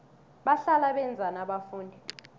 bahlala benzani abafundi